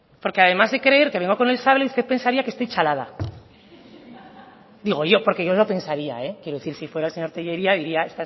porque además de creer que vengo con el sable usted pensaría que estoy chalada digo yo porque yo lo pensaría eh quiero decir si fuera el señor tellería diría